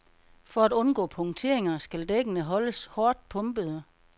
For at undgå punkteringer skal dækkene holdes hårdt pumpede.